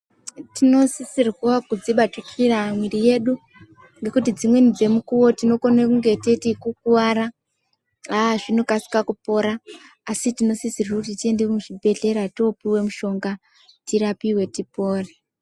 Tinosisirwa kudzibatikira mwiri yedu ngekuti dzimweni dzemukuvo tinenge teiti kukuvara aa zvinokasira kupora. Asi tinosisirwa kuti tiende kuzvibhedhlera topuva mushonga tirapive tipore.